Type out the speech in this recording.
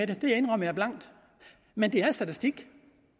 det indrømmer jeg blankt men det er statistik